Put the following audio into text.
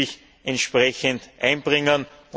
alle müssen sich entsprechend einbringen.